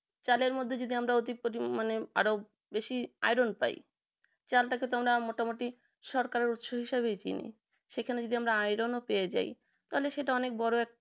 চালের মধ্যে যদি আমরা অতি পরি মানে আরো বেশি iron পাই চালটাকে তোমরা মোটামুটি সড়করার উৎস হিসাবে চিনি সেখানে যদি আমরা iron ও পেয়ে যাই তাহলে সেটা অনেক বড়ো